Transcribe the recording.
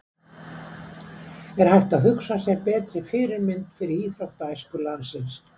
Er hægt að hugsa sér betri fyrirmynd fyrir íþróttaæsku landsins?